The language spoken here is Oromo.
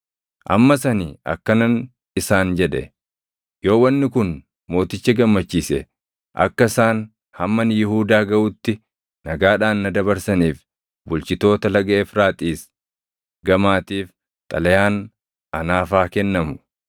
Ammas ani akkanan isaan jedhe; “Yoo wanni kun mooticha gammachiise, akka isaan hamma ani Yihuudaa gaʼutti nagaadhaan na dabarsaniif bulchitoota Laga Efraaxiis Gamaatiif xalayaan anaaf haa kennamu.